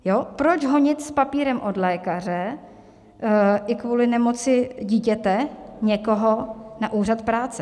Proč honit s papírem od lékaře i kvůli nemoci dítěte někoho na úřad práce?